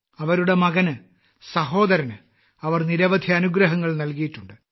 അവരുടെ മകന് സഹോദരന് അവർ നിരവധി അനുഗ്രഹങ്ങൾ നൽകിയിട്ടുണ്ട്